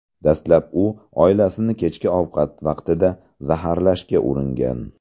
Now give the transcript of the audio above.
Dastlab u oilasini kechki ovqat vaqtida zaharlashga uringan.